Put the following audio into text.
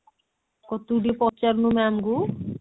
କଣ ତୁ ଟିକେ ପଚାରୁନୁ ma'am ଙ୍କୁ?